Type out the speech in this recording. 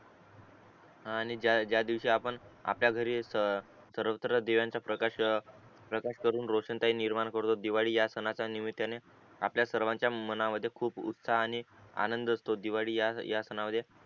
हा आणि जा दिवशी आपण आपल्या घरी आपण सर्वत्र दिव्याचा प्रकाश करून रोषणाई निर्माण करून दिवाळी या सणाचा निमित्याने आपल्या सर्वांचा मनामध्ये खूप उत्साह आणि आनंद असतो दिवाळी या या सणामध्ये